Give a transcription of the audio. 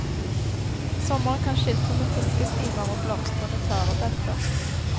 Sommeren kan skilte med fiskestimer og blomstrende tarebelter.